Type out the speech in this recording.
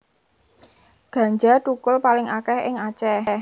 Ganja thukul paling akèh ing Aceh